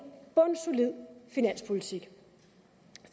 bundsolid finanspolitik